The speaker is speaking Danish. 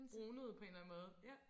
Brunet på en eller anden måde ja